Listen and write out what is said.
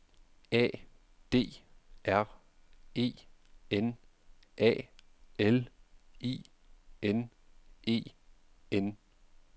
A D R E N A L I N E N